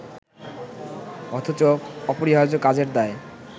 অথচ অপরিহার্য কাজের দায়